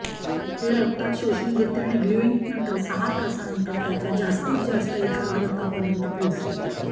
हे रक्तात शोषून घेते आणि ग्लूइंग नंतर सहा तासांनंतर त्याच्या जास्तीत जास्त एकाग्रतापर्यंत पोहोचते